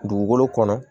Dugukolo kɔnɔ